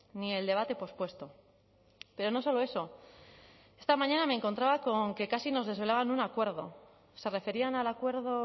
ni el debate pospuesto pero no solo eso esta mañana me encontraba con que casi nos desvelaban un acuerdo se referían al acuerdo